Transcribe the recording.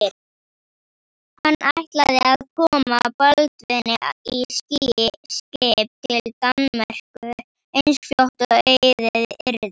Hann ætlaði að koma Baldvini í skip til Danmerkur eins fljótt og auðið yrði.